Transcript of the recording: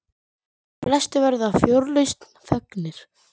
Flestir verða fjörlausn fegnir.